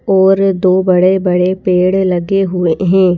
और दो बड़े बड़े पेड़ लगे हुए हैं।